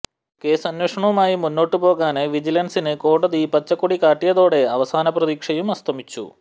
കേസന്വേഷണവുമായി മുന്നോട്ട് പോകാന് വിജിലന്സിന് കോടതി പച്ചക്കൊടി കാട്ടിയതോടെ അവസാന പ്രതീക്ഷയും അസ്തമിച്ചു